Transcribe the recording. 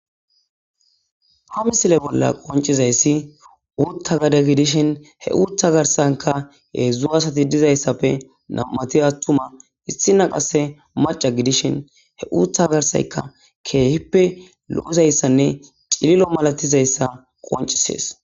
Ha misile bolla qoncizayssi uutha gade gidishin he uutha garsanka hedzdzu asati dizayssappe nam'ati attuma issina qasse macca gidishin he uutha garsaykka keehippe lo'izaysanne cilil'o malatizaysa qoncises.